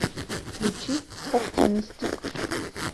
включи оптимистик